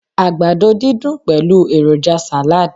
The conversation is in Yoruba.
àgbàdo didun pẹlu eroja salad